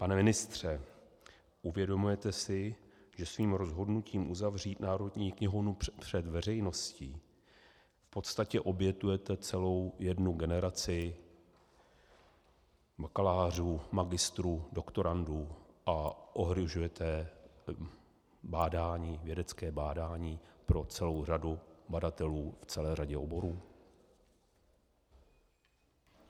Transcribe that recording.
Pane ministře, uvědomujete si, že svým rozhodnutím uzavřít Národní knihovnu před veřejností v podstatě obětujete celou jednu generaci bakalářů, magistrů, doktorandů a ohrožujete vědecké bádání pro celou řadu badatelů v celé řadě oborů?